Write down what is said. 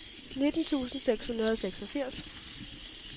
nitten tusind seks hundrede og seksogfirs